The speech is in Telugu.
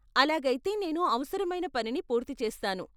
అలాగైతే నేను అవసరమైన పనిని పూర్తి చేస్తాను.